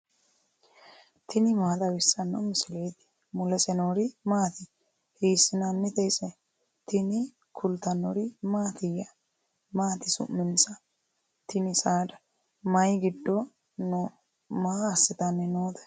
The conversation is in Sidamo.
tini maa xawissanno misileeti ? mulese noori maati ? hiissinannite ise ? tini kultannori mattiya? Maati su'mansa tini saada? Mayi giddo noo? Maa asittanni nootte?